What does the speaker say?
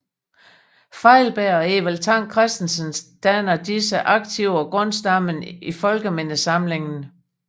Feilberg og Evald Tang Kristensens danner disse arkiver grundstammen i Folkemindesamlingen